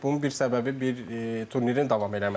Bunun bir səbəbi bir turnirin davam eləməyidir.